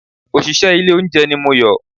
Òṣìṣẹ́ ilé olóúnjẹ ni Moyò